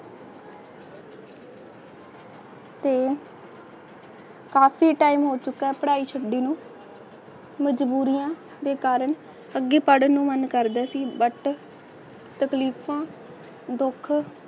ਤੇ ਕਾਫੀ time ਹੋ ਚੁਕਾ ਪੜਾਈ ਛੱਡੀ ਨੂੰ ਮਜਬੂਰੀ ਦੇ ਕਾਰਣ ਅਨਪੜ ਨੂੰ ਮਨ ਕਰਦਾ ਸੀ but ਤਕਲੀਫ਼ਾਂ ਦੁੱਖ